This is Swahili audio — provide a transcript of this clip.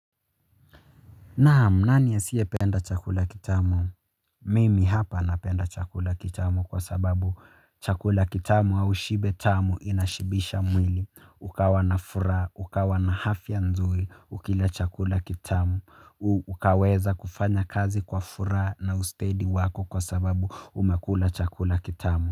Naam nani asiyependa chakula kitamu mimi hapa napenda chakula kitamu kwa sababu chakula kitamu au shibe tamu inashibisha mwili. Ukawa na furaha ukawa na hafya nzuri ukila chakula kitamu ukaweza kufanya kazi kwa furaha na ustedi wako kwa sababu umekula chakula kitamu.